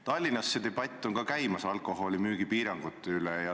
Tallinnas on käimas debatt alkoholimüügi piirangute üle.